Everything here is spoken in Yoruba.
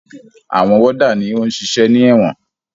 Àwọn wọ́dà ni ó ń ṣiṣẹ́ ní ẹ̀wọ̀n.